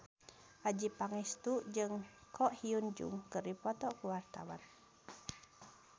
Adjie Pangestu jeung Ko Hyun Jung keur dipoto ku wartawan